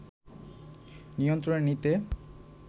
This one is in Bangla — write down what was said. নিয়ন্ত্রণে নিতে